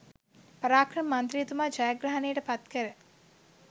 පරාක්‍රම මන්ත්‍රීතුමා ජයග්‍රහණයට පත් කර